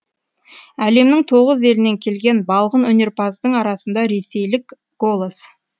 әлемнің тоғыз елінен келген балғын өнерпаздардың арасында ресейлік голос